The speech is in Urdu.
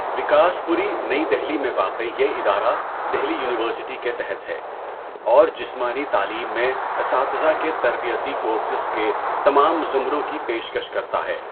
وکاسپوری، نئی دہلی میں واقع یہ ادارہ دہلی یونیورسٹی کے تحت ہے اور جسمانی تعلیم میں اساتذہ کے تربیتی کورسز کے تمام زمروں کی پیشکش کرتا ہے۔